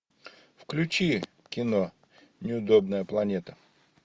включи кино неудобная планета